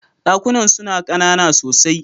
Dakunan suna kanana sosai.